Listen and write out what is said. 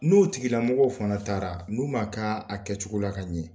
N'o tigilamɔgɔw fana taara n'u m'a k'a a kɛcogo la ka ɲɛ,